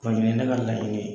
Kɔni ye ne ka laɲini ye.